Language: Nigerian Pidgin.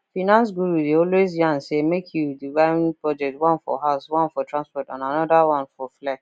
finance guru dey always yarn say make you divide budget one for house one for transport another one for flex